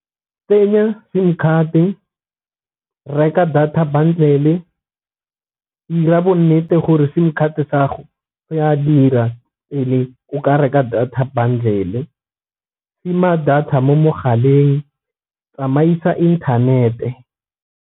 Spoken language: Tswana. Tsenya sim card-e, reka data bundle, 'ira bo nnete gore sim card sa 'go se a dira, pele o ka reka data bundle, tima data mo mogaleng tsamaisa inthanete.